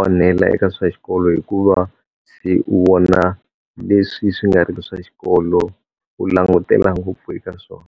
onhela eka swa xikolo hikuva se u vona leswi swi nga ri ki swa xikolo, u langutela ngopfu eka swona.